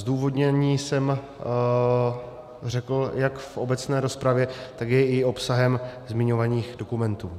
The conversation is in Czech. Zdůvodnění jsem řekl jak v obecné rozpravě, tak je i obsahem zmiňovaných dokumentů.